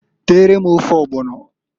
Teere m ofe ọgbọnọǃ